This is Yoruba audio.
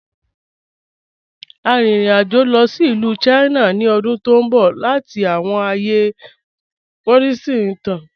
À n rìn ìrìn-àjọ̀ lọ sí Ilù China ni ọ̀dún tó nbọ̀ lati wọ̀ awọn ààyè Buddhist ìtàn.